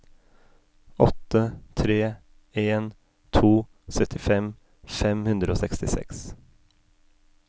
åtte tre en to syttifem fem hundre og sekstiseks